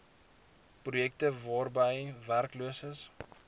projekte waarby werkloses